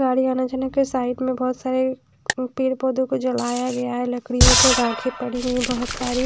गाड़ी आने जाने के साइड में बहुत सारे ए पेड़ पौधों को जलाया गया है लकड़ियों को राखें पड़ी हुई हैं बहुत सारी।